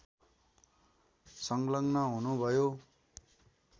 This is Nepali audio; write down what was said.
संलग्न हुनुभयो